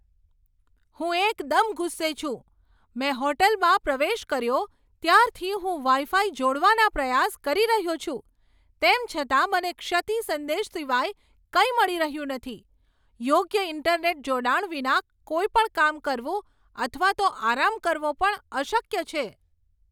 હું એકદમ ગુસ્સે છું! મેં હોટલમાં પ્રવેશ કર્યો ત્યારથી હું વાઈ ફાઈ જોડવાના પ્રયાસ કરી રહ્યો છું, તેમ છતાં મને ક્ષતિ સંદેશ સિવાય કંઈ મળી રહ્યું નથી. યોગ્ય ઈન્ટરનેટ જોડાણ વિના કોઈપણ કામ કરવું અથવા તો આરામ કરવો પણ અશક્ય છે.